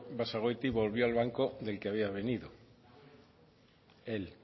basagoiti volvió al banco del que había venido él